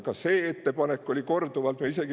Ka seda ettepanekut korduvalt.